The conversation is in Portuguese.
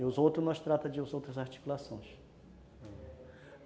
E os outros nós tratamos de outras articulações.